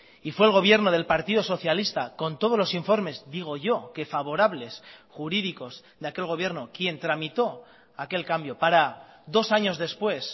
y fue el gobierno del partido socialista con todos los informes digo yo que favorables jurídicos de aquel gobierno quien tramitó aquel cambio para dos años después